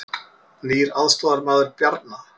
Nýr aðstoðarmaður Bjarna